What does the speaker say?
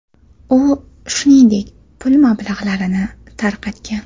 U, shuningdek, pul mablag‘larini tarqatgan.